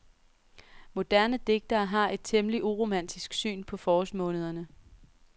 Moderne digtere har et temmelig uromantisk syn på forårsmånederne.